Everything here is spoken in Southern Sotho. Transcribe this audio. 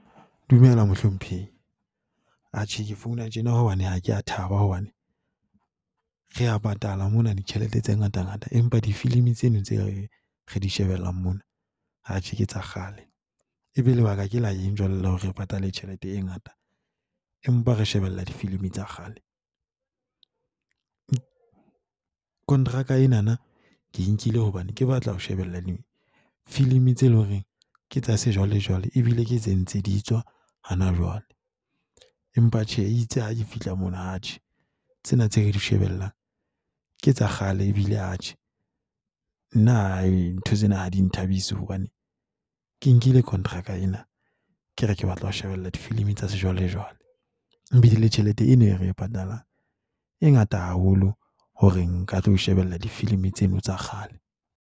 Dumela, mohlomphehi. Atjhe ke founa tjena hobane ha ke a thaba hobane re a patala mona, ditjhelete tse ngatangata, empa difilimi tseno tse re di shebellang mona atjhe ke tsa kgale. E be lebaka ke la eng jwale le hore re patale tjhelete e ngata, empa re shebella difilimi tsa kgale. Kontraka enana ke nkile hobane ke batla ho shebella difilimi tse eleng hore ke tsa sejwale jwale ebile ke tse ntse di tswa hona jwale. Empa tjhe itse ha ke fihla mono atjhe tsena tse re di shebellang ke tsa kgale. Ebile atjhe nna ntho tsena ha di nthabise hobane ke nkile contractor ena ke re ke batla ho shebella difilimi tsa sejwalejwale. Ebile le tjhelete e ne re e patalang e ngata haholo hore nka tlo shebella difilimi tseno tsa kgale.